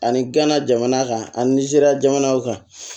Ani gana jamana kan anizeriya jamanaw kan